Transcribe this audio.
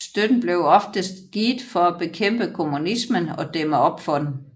Støtten blev oftest givet for at bekæmpe kommunismen og dæmme op for den